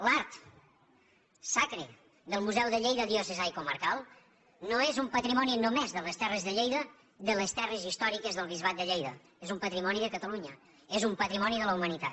l’art sacre del museu de lleida diocesà i comarcal no és un patrimoni només de les terres de lleida de les terres històriques del bisbat de lleida és un patrimoni de catalunya és un patrimoni de la humanitat